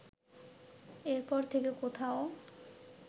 এরপর থেকে কোথাও